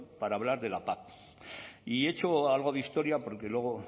para hablar de la pac y he hecho algo de historia porque luego